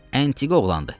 Əntiqə oğlandır.